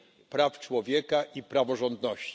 praw człowieka i praworządności.